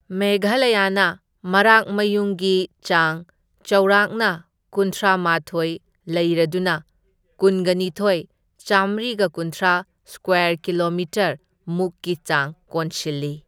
ꯃꯦꯘꯥꯂꯌꯥꯅ ꯃꯔꯥꯛ ꯃꯌꯨꯡꯒꯤ ꯆꯥꯡ ꯆꯥꯎꯔꯥꯛꯅ ꯀꯨꯟꯊ꯭ꯔꯥ ꯃꯥꯊꯣꯢ ꯂꯩꯔꯗꯨꯅ ꯀꯨꯟꯒꯅꯤꯊꯣꯢ, ꯆꯥꯝꯃ꯭ꯔꯤꯒ ꯀꯨꯟꯊ꯭ꯔꯥ ꯁꯀ꯭ꯋꯦꯔ ꯀꯤꯂꯣꯃꯤꯇꯔ ꯃꯨꯛꯀꯤ ꯆꯥꯡ ꯀꯣꯟꯁꯤꯜꯂꯤ꯫